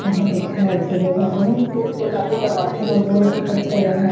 यहाँ पर कितना अच्छा जगह है यहाँ बहुत ही एक अच्छा जगह--